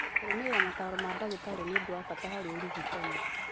Kũrũmĩrĩra mataaro ma ndagĩtarĩ nĩ ũndũ wa bata harĩ ũrigitani.